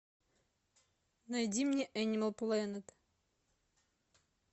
найди мне энимал плэнет